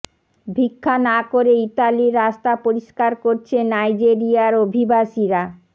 ভিক্ষা না করে ইতালির রাস্তা পরিষ্কার করছে নাইজেরিয়ার অভিবাসীরা